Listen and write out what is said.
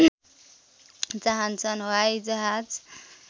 चाहन्छन् हवाइजहाज